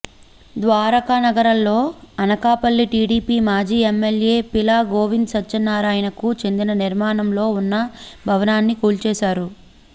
ద్వారకానగర్లో Anakapalli TDP మాజీ MLA Peela Govind సత్యనారాయణకు చెందిన నిర్మాణంలో ఉన్న భవానాన్ని కూల్చేశారు